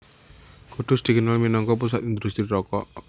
Kudus dikenal minangka pusat indhustri rokok